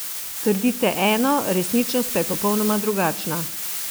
Trdite eno, resničnost pa je popolnoma drugačna.